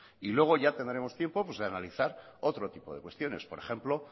y luego ya tendremos tiempo pues de analizar otro tipo de cuestiones por ejemplo